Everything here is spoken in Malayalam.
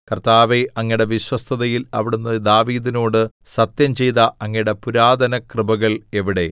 കർത്താവേ അങ്ങയുടെ വിശ്വസ്തതയിൽ അവിടുന്ന് ദാവീദിനോട് സത്യംചെയ്ത അങ്ങയുടെ പുരാതനകൃപകൾ എവിടെ